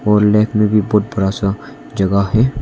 और लेफ्ट में भी बहुत बड़ा सा जगह है।